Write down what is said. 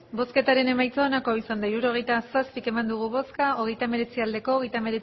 hirurogeita zazpi eman dugu bozka hogeita hemeretzi bai